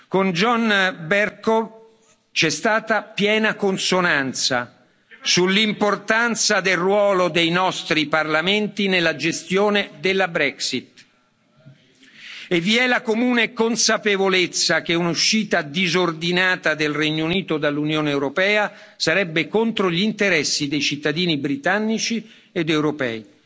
Con John Bercow c'è stata piena consonanza sull'importanza del ruolo dei nostri Parlamenti nella gestione della Brexit e vi è la comune consapevolezza che un'uscita disordinata del Regno Unito dall'Unione europea sarebbe contro gli interessi dei cittadini britannici ed europei.